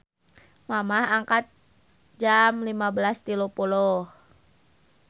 Mamah angkat jam 15.30